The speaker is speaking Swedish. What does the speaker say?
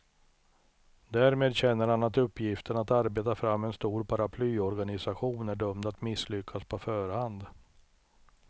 Därmed känner han att uppgiften att arbeta fram en stor paraplyorganisation är dömd att misslyckas på förhand.